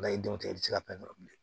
i denw tɛ i tɛ se ka fɛn tɔ bilen